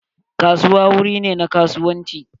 Kasuwa wuri ne na kasuwanci.